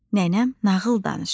nənəm nağıl danışır.